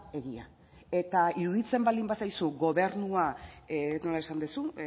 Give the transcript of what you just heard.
egia eta iruditzen baldin bazaizu gobernua nola esan duzu